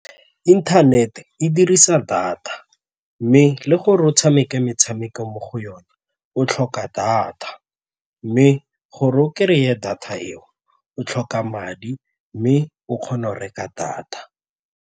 Internet-e dirisa data mme le gore o tshameka metshameko mo go yona o tlhoka data mme gore o kry-e data eo o tlhoka madi mme o kgone go reka data.